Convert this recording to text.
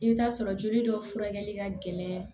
I bɛ t'a sɔrɔ joli dɔw furakɛli ka gɛlɛn